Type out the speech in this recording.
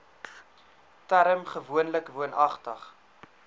term gewoonlik woonagtig